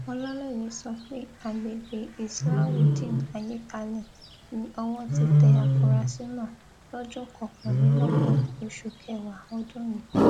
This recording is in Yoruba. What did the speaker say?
ọlàlẹyé sọ pé àgbègbè islahudeenayékalẹ ni owó ti tẹ àfúrásì náà lọjọ kọkànlélọgbọn oṣù kẹwàá ọdún yìí